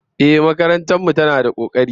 Ehh, makarantar mu tana da kokari